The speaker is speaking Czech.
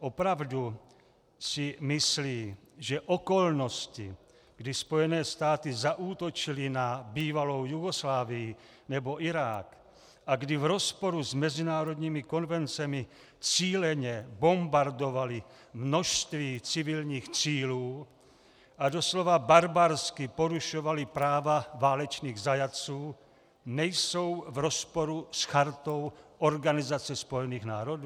Opravdu si myslí, že okolnosti, kdy Spojené státy zaútočily na bývalou Jugoslávii nebo Irák a kdy v rozporu s mezinárodními konvencemi cíleně bombardovaly množství civilních cílů a doslova barbarsky porušovaly práva válečných zajatců, nejsou v rozporu s Chartou Organizace spojených národů?